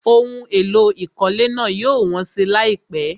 Ohun èlò ìkọ́lé náà yóò wọ́n si láìpẹ́.